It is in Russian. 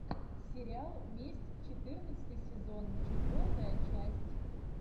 сериал месть четырнадцатый сезон четвертая часть